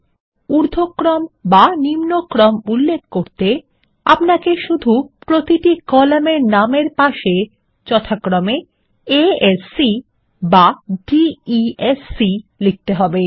এবং উর্ধক্রম বা নিম্নক্রম উল্লেখ করতে আপনাকে শুধু প্রতিটি কলামের নামের পাশে A S C বা D E S C লিখতে হবে